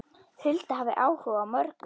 Hulda hafði áhuga á mörgu.